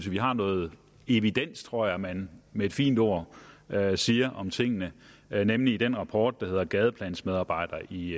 vi har noget evidens tror jeg man med et fint ord siger om tingene nemlig i den rapport der hedder gadeplansmedarbejdere i